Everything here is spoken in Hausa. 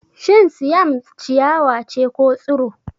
Shin Siam ciyawa ce ko Tsiro?